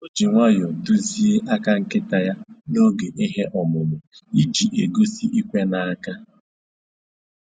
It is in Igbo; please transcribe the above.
O ji nwayọ duzie aka nkịta ya n'oge ihe ọmụmụ iji egosi "ikwe n'aka"